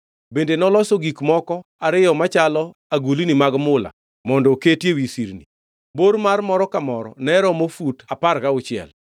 Bende noloso gik moko ariyo machalo agulni mag mula mondo oketi ewi sirni. Bor mar moro ka moro ne romo fut apar gauchiel.